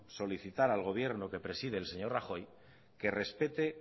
solicitar al gobierno que preside el señor rajoy que respete